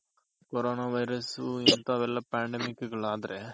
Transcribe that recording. corona virus ಇಂತವೆಲ್ಲ pandemic ಆದ್ರೆ.